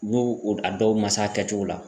N'u a dɔw ma se a kɛcogo la.